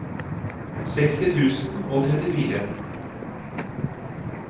seksti tusen og trettifire